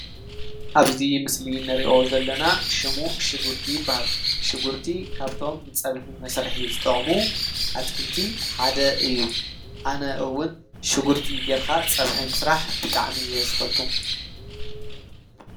ኣብዙይ ምስሊ ንርኦ ዘለና ሹሙ ሽጉርቲ በሃል ሽጉርቲ ካብቶም ንጸብሒ መሠርሒ ዝጠቕሙ ኣትክልቲ ሓደ እዩ ኣነእውን ሽጕርቲ ጌርኻ ጸብሒ ምሥራሕ ብጠዕሚ እየ ዘፈቱ።